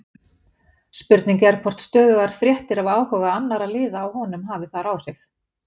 Spurning er hvort stöðugar fréttir af áhuga annarra liða á honum hafi þar áhrif?